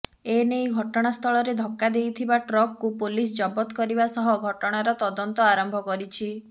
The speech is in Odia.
ଏନେଇ ଘଟଣାସ୍ଥଳରେ ଧକ୍କା ଦେଇଥିବା ଟ୍ରକକୁ ପୋଲିସ ଜବତ କରିବା ସହ ଘଟଣାର ତଦନ୍ତ ଆରମ୍ଭ କରିଛି